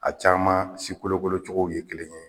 A caman sikolokolo cogow ye kelen ye